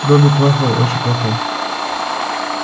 добби плохой очень плохой